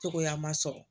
Cogoya ma sɔrɔ